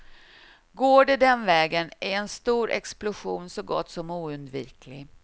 Går det den vägen är en stor explosion så gott som oundviklig.